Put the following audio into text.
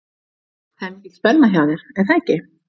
Það er mikil spenna hjá þér er það ekki?